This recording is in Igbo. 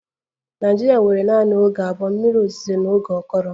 Nigeria nwere naanị oge abụọ, mmiri ozuzo na oge akọrọ